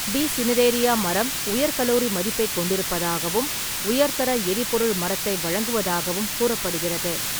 B. Cineraria மரம் உயர் calorie மதிப்பைக் கொண்டிருப்பதாகவும், உயர்தர எரிபொருள் மரத்தை வழங்குவதாகவும் கூறப்படுகிறது.